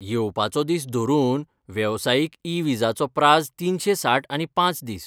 येवपाचो दीस धरून वेवसायीक ई विजाचो प्राझ तिनशे साठ आनी पांच दीस.